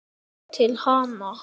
Til hans.